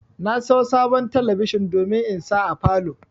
Na sayo sabon talabijin domin in sa a falow